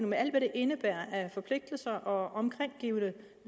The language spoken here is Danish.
med alt hvad det indebærer af forpligtelser og omkringliggende